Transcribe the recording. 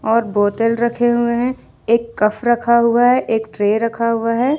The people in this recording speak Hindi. और बोतल रखे हुए हैं एक कफ रखा हुआ है एक ट्रे रखा हुआ है।